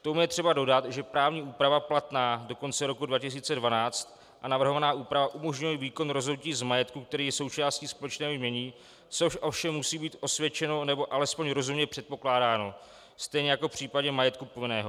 K tomu je třeba dodat, že právní úprava platná do konce roku 2012 a navrhovaná úprava umožňuje výkon rozhodnutí z majetku, který je součástí společného jmění, což ovšem musí být osvědčeno nebo alespoň rozumně předpokládáno stejně jako v případě majetku povinného.